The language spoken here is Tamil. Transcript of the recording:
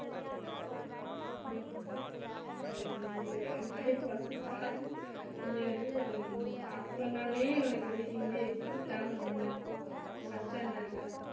அதேதான் இங்கேயும் என் பையன் first starting இங்க வந்து start பண்ணவுடனே இவனுக்கு வந்து ஹிந்தி exam term ஒண்ணு first standard ல